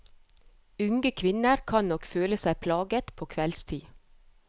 Unge kvinner kan nok føle seg plaget på kveldstid.